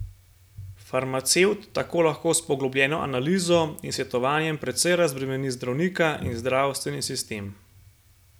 Farmacevt tako lahko s poglobljeno analizo in svetovanjem precej razbremeni zdravnika in zdravstveni sistem.